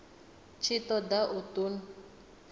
tshi ṱo ḓa u ṱun